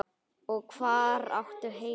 Og hvar áttu heima?